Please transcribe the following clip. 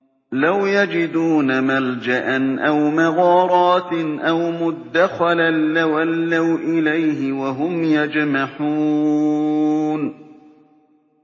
لَوْ يَجِدُونَ مَلْجَأً أَوْ مَغَارَاتٍ أَوْ مُدَّخَلًا لَّوَلَّوْا إِلَيْهِ وَهُمْ يَجْمَحُونَ